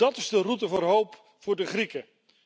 Dat is de route voor hoop voor de Grieken!